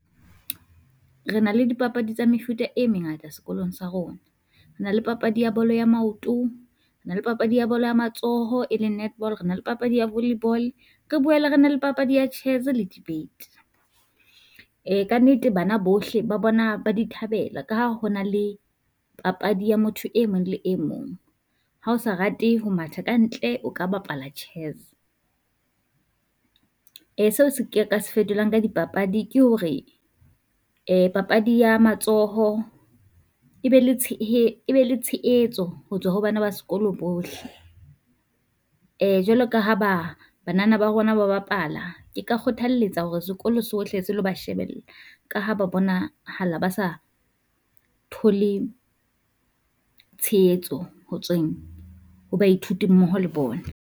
Re na le dipapadi tsa mefuta e mengata sekolong sa rona, re na le papadi ya bolo ya maoto, re na le papadi ya bolo ya matsoho, e leng netball, rena le papadi ya volley ball, re boele re na le papadi ya chess le debate. Kannete bana bohle ba bona ba di thabela ka ha ho na le papadi ya motho e mong le e mong, ha o sa rate ho matha ka ntle, o ka bapala chess. Seo se ke ka se fetolang ka dipapadi ke hore papadi ya matsoho e be le e be le tsheetso ho tswa ho bana ba sekolo bohle. Jwalo ka ha ba banana ba rona ba bapala, ke ka kgothalletsa hore sekolo sohle se lo ba shebella, ka ha ba bonahala ba sa thole tshehetso ho tsweng baithuti mmoho le bona.